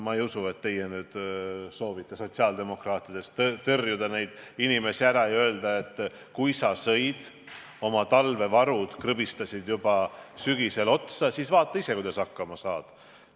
Ma ei usu, et teie soovite sotsiaaldemokraatidena neid inimesi tõrjuda ja öelda neile, et kui te sõite oma talvevarud ära, krõbistasite need juba sügisel otsa, siis vaadake ise, kuidas hakkama saate.